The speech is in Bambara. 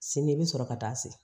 Sini i bɛ sɔrɔ ka taa se